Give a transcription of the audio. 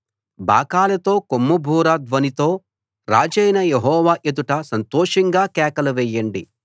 బాకాలతో కొమ్ముబూర ధ్వనితో రాజైన యెహోవా ఎదుట సంతోషంగా కేకలు వేయండి